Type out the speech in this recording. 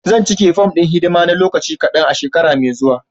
Zan cika fom ɗin hidima na lokaci kadan a shekara mai zuwa.